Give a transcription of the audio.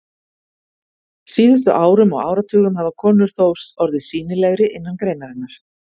síðustu árum og áratugum hafa konur þó orðið sýnilegri innan greinarinnar.